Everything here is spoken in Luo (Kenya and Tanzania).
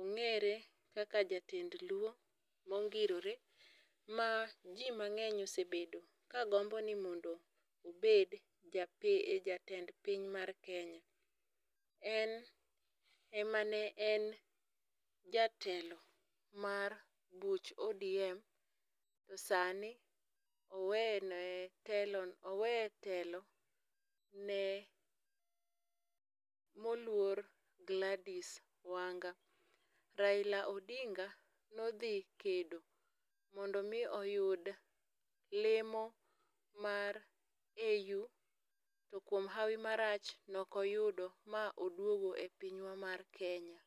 ongere kaka jatend luo mongirore ma jii mang'eny osebedo kagombo ni mondo obed jatend piny mar Kenya, en emane en jatelo mar buch ODM to sani owene telo, owe telo no ne moluor gladys Wanga. Raila Odinga ne odhi kedo mondo oyud lemo mar AU to kuom hawi marach ne ok oyudo ma oduogo e pinywa mar Kenya